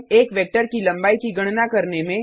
एक वेक्टर की लम्बाई की गणना करने में